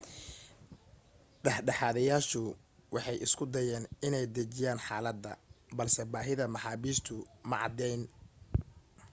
dhexdhexaadiyayaashu waxay isku dayeen inay dajiyaan xaaladda balse baahida maxaabiistu ma caddayn